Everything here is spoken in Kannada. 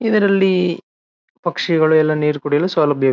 ಇದರಲ್ಲಿ ಪಕ್ಷಿಗಳು ಎಲ್ಲಾ ನೀರ ಕುಡಿಯಲು ಸೌಲಭ್ಯ.